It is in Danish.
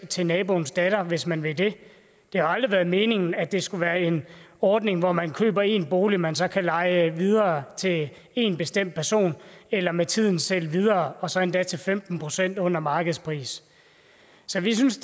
til naboens datter hvis man vil det det har aldrig været meningen at det skulle være en ordning hvor man køber en bolig som man så kan leje videre til en bestemt person eller med tiden sælge videre og så endda til femten procent under markedspris så vi synes